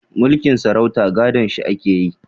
Mulkin sarauta gadon shi ake yi